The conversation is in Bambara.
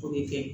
O bɛ kɛ